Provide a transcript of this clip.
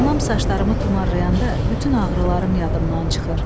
Anam saçlarımı tumarlayanda bütün ağrılarım yadımdan çıxır.